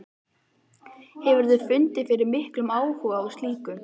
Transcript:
Hefurðu fundið fyrir miklum áhuga á slíku?